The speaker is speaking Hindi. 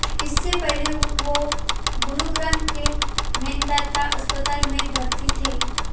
इससे पहले वो गुरुग्राम के मेदांता अस्पताल में भर्ती थे